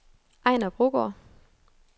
Ejner Brogaard